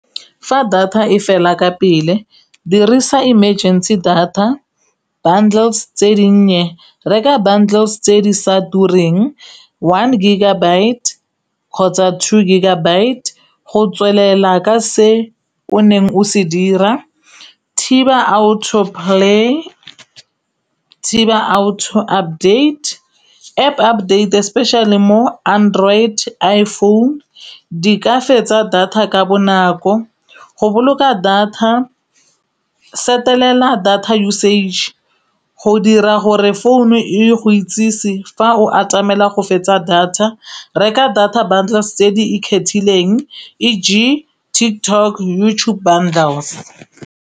Fa data e fela ka pele dirisa emergency data bubdlea tse dinnye reka bundles tse di sa tureng one gigabyte kgotsa two gigabyte go tswelela ka se o neng o se dira thiba auto play, thiba auto update, App update especially mo android, iphone di ka fetsa data ka bonako. Go boloka data setelela data usage go dira gore phone e go itsise fa o atamela go fetsa data reka data bundles tse di ikgethileng eg TikTok, YouTube bundles.